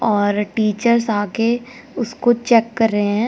और टीचर्स आके उसको चेक कर रहे हैं।